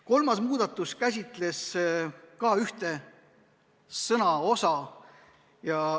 Kolmas muudatusettepanek käsitleb ühe sätte sõnastust.